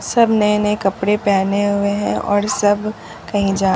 सब नए नए कपड़े पहने हुए हैं और सब कहीं जा--